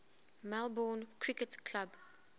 melbourne cricket club